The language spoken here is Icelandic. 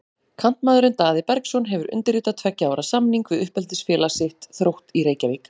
Kantmaðurinn Daði Bergsson hefur undirritað tveggja ára samning við uppeldisfélag sitt, Þrótt í Reykjavík.